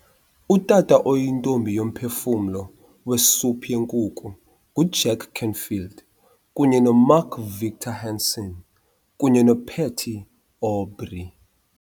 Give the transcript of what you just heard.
Utata oyiNtombi yoMphefumlo weSophu yenkukhu nguJack Canfield kunye noMark Victor Hansen kunye noPatty Aubery